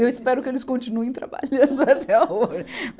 Eu espero que eles continuem trabalhando até a hoje